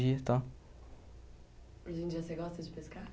e tal. Hoje em dia você gosta de pescar?